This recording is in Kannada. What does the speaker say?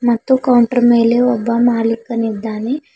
ಮತ್ತು ಕೌಂಟರ್ ಮೇಲೆ ಒಬ್ಬ ಮಾಲೀಕ ಇದ್ದಾನೆ.